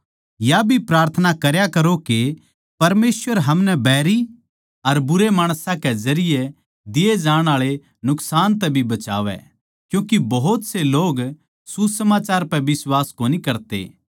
या भी प्रार्थना करया करो के परमेसवर हमनै बैरी अर बुरे माणसां के जरिये दिए जाण आळे नुकसान तै भी बचावै क्यूँके भोत से लोग सुसमाचार पै बिश्वास कोनी करते